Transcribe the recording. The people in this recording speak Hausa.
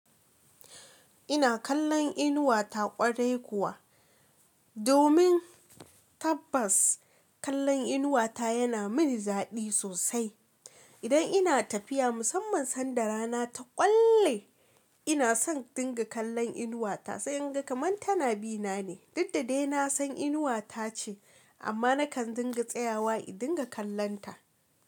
Ina kallon inuwa ta ƙwarai kuwa, domin tabbas kallon inuwa ta yana mini daɗi sosai. Idan ina tafiya musamman sanda rana ta ƙwalle, ina son dinga kallon inuwa ta, sai in ga kamar tana bi na ne. Dukdadai na san inuwa tace, amma nakan dinga tsayawa in dinga kallon ta.